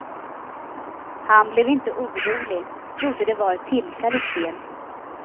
Han blev inte orolig, trodde det var ett tillfälligt fel.